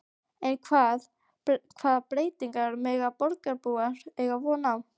En hvaða breytingum mega borgarbúar eiga von á?